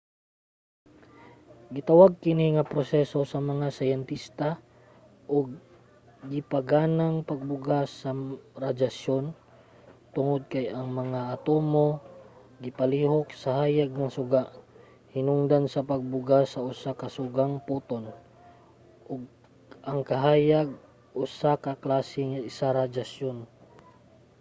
gitawag kini nga proseso sa mga syintesta og gipaganang pagbuga sa radyasyon tungod kay ang mga atomo gipalihok sa hayag nga suga hinungdan sa pagbuga sa usa ka sugang photon ug ang kahayag usa ka klase sa radyasyon